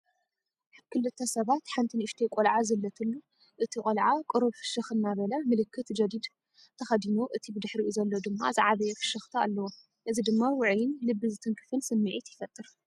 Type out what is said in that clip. ክልተ ሰባት ሓንቲ ንእሽተይ ቆልዓ ዘለትሉ ፤ እቲ ቆልዓ ቁሩብ ፍሽኽ እናበለ፡ ምልክት ጀዲድ ተኸዲኑ፡ እቲ ብድሕሪኡ ዘሎ ድማ ዝዓበየ ፍሽኽታ ኣለዎ። እዚ ድማ ውዑይን ልቢ ዝትንክፍን ስምዒት ይፈጥር።